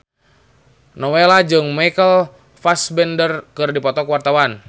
Nowela jeung Michael Fassbender keur dipoto ku wartawan